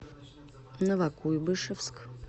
новокуйбышевск